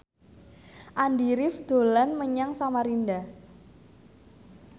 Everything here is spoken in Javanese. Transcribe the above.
Andy rif dolan menyang Samarinda